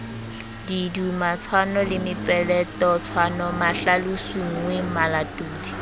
didumatshwano le mepeletotshwano mahlalosonngwe malatodi